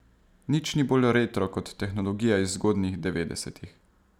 Nič ni bolj retro kot tehnologija iz zgodnjih devetdesetih.